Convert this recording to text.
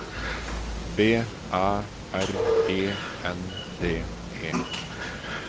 B Æ R E N D E